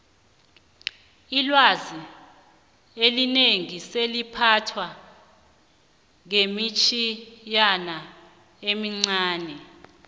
ilwazi elinengi seliphathwa ngemitjhinyana emincani